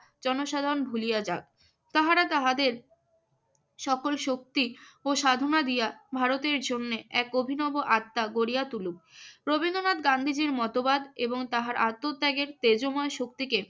জনসাধারণ ভুলিয়া যাক। তাহারা তাহাদের সকল শক্তি ও সাধনা দিয়া ভারতের জন্য এক অভিনব আত্মা গড়িয়া তুলুক। রবীন্দ্রনাথ গান্ধীজির মতবাদ এবং তাহার আত্মত্যাগের তেজময় শক্তিকে